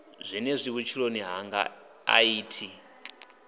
zwenezwi vhutshiloni hanga a thi